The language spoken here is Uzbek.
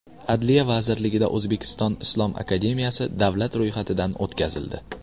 Adliya vazirligida O‘zbekiston islom akademiyasi davlat ro‘yxatidan o‘tkazildi.